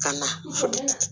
Ka na